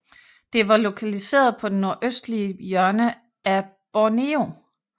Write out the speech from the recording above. Det var lokaliseret på den nordøstlige hjørne af Borneo